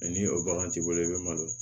ni o bagan t'i bolo i bɛ malo